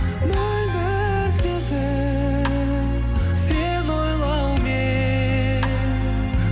мөлдір сезім сені ойлаумен